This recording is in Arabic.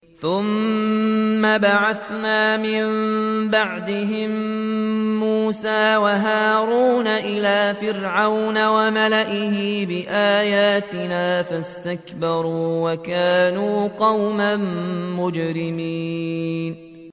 ثُمَّ بَعَثْنَا مِن بَعْدِهِم مُّوسَىٰ وَهَارُونَ إِلَىٰ فِرْعَوْنَ وَمَلَئِهِ بِآيَاتِنَا فَاسْتَكْبَرُوا وَكَانُوا قَوْمًا مُّجْرِمِينَ